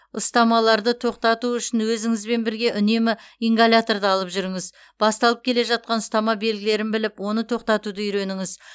ұстамаларды тоқтату үшін өзіңізбен бірге үнемі ингаляторды алып жүріңіз басталып келе жатқан ұстама белгілерін біліп оны тоқтатуды үйреніңіз